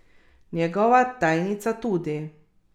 Njegova tajnica tudi.